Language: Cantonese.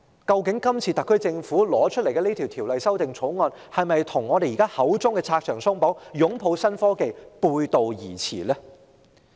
究竟特區政府提交的《條例草案》，與當局口中的拆牆鬆綁、擁抱新科技是否背道而馳呢？